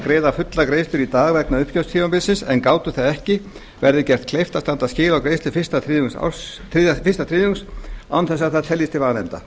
greiða fulla greiðslu í dag vegna uppgjörstímabilsins en gátu það ekki verði gert kleift að standa skil á greiðslu fyrsta þriðjungs án þess að það teljist til vanefnda